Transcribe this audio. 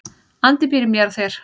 Andi býr í mér og þér.